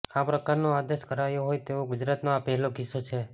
આ પ્રકારનો આદેશ કરાયો હોય તેવો ગુજરાતનો આ પહેલો કિસ્સો છે